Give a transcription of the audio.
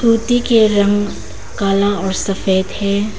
कुर्सी के रंग काला और सफेद है।